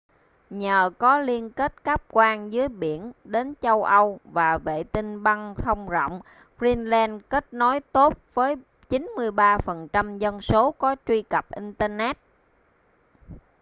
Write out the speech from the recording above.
nhờ có liên kết cáp quang dưới biển đến châu âu và vệ tinh băng thông rộng greenland kết nối tốt với 93% dân số có truy cập internet